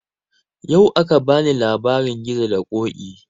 Yau aka bani labarin gizo da ƙoƙi